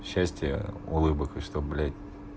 счастья улыбок и чтоб блять